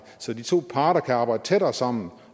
så de to parter kan arbejde tættere sammen